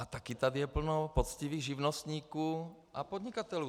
A taky je tady plno poctivých živnostníků a podnikatelů.